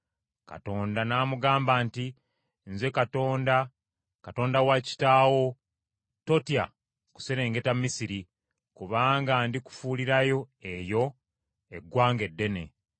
Katonda n’amugamba nti, “Nze Katonda, Katonda wa kitaawo; totya kuserengeta Misiri, kubanga ndi kufuulirayo eyo eggwanga eddene.